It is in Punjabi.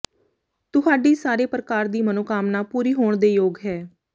ਤੁਹਾਡੀ ਸਾਰੇ ਪ੍ਰਕਾਰ ਦੀ ਮਨੋਕਾਮਨਾ ਪੂਰੀ ਹੋਣ ਦੇ ਯੋਗ ਹੈ